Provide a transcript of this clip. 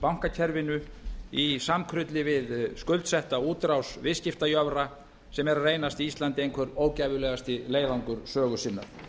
bankakerfinu í samkrulli við skuldsetta útrás viðskiptajöfra sem eru að reynast íslandi einhver ógæfulegasti leiðangur sögu sinnar